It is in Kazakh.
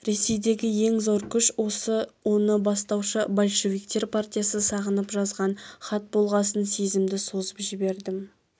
ресейдегі ең зор күш осы оны бастаушы большевиктер партиясы сағынып жазған хат болғасын сезімді созып жібердім